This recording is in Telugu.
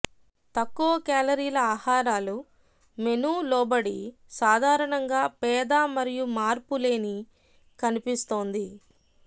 తక్కువ కేలరీల ఆహారాలు మెను లోబడి సాధారణంగా పేద మరియు మార్పులేని కనిపిస్తోంది